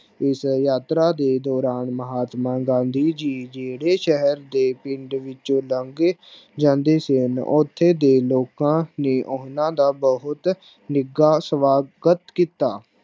ਇਸ ਯਾਤਰਾ ਦੇ ਦੌਰਾਨ ਮਹਾਤਮਾ ਗਾਂਧੀ ਜੀ ਜਿਹੜੇ ਸ਼ਹਿਰ ਦੇ ਪਿੰਡ ਵਿੱਚੋ ਲੱਗੇ ਜਾਂਦੇ ਸਨ ਓਥੇ ਦੇ ਲੋਕਾਂ ਨੇ ਉਹਨਾਂ ਦਾ ਬੋਹਤ ਨਿੱਘਾ ਸਵਾਗਤ ਕੀਤਾ।